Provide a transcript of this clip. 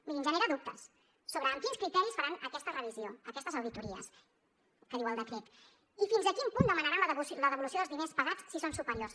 mirin genera dubtes sobre amb quins criteris faran aquesta revisió aquestes auditories que diu el decret i fins a quin punt demanaran la devolució dels diners pagats si són superiors